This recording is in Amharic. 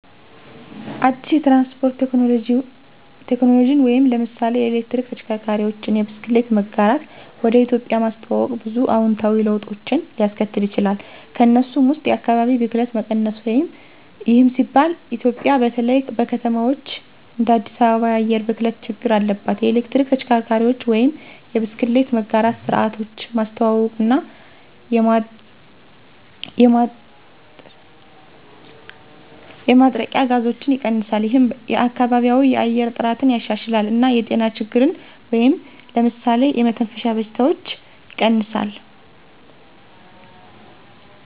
አዲስ የትራንስፖርት ቴክኖሎጂን (ለምሳሌ የኤሌክትሪክ ተሽከርካሪዎች፣ የብስክሌት መጋራት) ወደ ኢትዮጵያ ማስተዋወቅ ብዙ አዎንታዊ ለውጦችን ሊያስከትል ይችላል። ከእነሱም ውስጥ የአካባቢ ብክለት መቀነስ ይህም ሲባል ኢትዮጵያ በተለይ በከተማዎች እንደ አዲስ አበባ የአየር ብክለት ችግር አለባት። የኤሌክትሪክ ተሽከርካሪዎች ወይም የብስክሌት መጋራት ስርዓቶች ማስተዋውቀው እና የማጥረቂያ ጋዞችን ይቀንሳል። ይህም የከባቢያዊ የአየር ጥራትን ያሻሽላል እና የጤና ችግሮችን (ለምሳሌ የመተንፈሻ በሽታዎች) ይቀንሳል።